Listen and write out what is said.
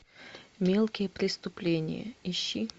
мелкие преступления ищи